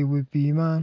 iwi pii man